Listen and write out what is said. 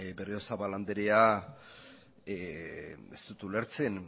berriozabal andrea ez dut ulertzen